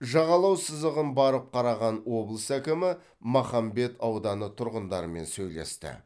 жағалау сызығын барып қараған облыс әкімі махамбет ауданы тұрғындарымен сөйлесті